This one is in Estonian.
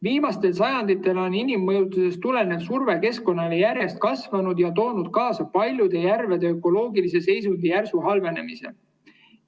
Viimastel sajanditel on inimmõjutustest tulenev surve keskkonnale järjest kasvanud ja on toonud kaasa paljude järvede ökoloogilise seisundi järsu halvenemise.